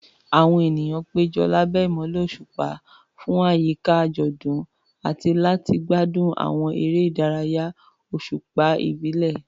Àwọn ènìyàn péjọ lábẹ́ ìmọ́lẹ̀ òṣùpá fún àyíká àjọ̀dún àti láti gbádùn àwọn eré ìdárayá òṣùpá ìbílẹ̀.